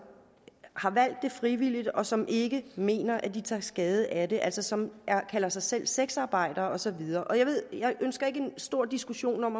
har valgt det frivilligt og som ikke mener de tager skade af det altså som kalder sig selv sexarbejdere og så videre jeg ønsker ikke en stor diskussion om